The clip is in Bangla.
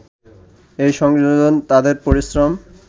এই সংযোজন তাদের পরিশ্রম